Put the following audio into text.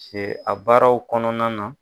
Se a baaraw kɔnɔna na.